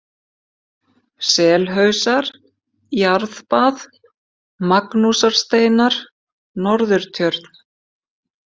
Selhausar, Jarðbað, Magnúsarsteinar, Norðurtjörn